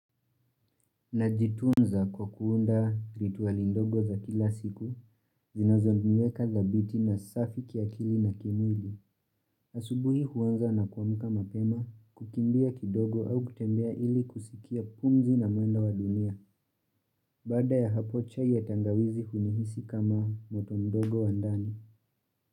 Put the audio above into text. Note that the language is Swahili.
Najitunza kwa kuunda rituali ndogo za kila siku, zinazoniweka dhabiti na safi kiakili na kimwili. Asubuhi huwanza na kuamuka mapema, kukimbia kidogo au kutembea ili kusikia pumzi na mwendo wa dunia, bada ya hapo chai ya tangawizi hunihisi kama moto mdogo wandani.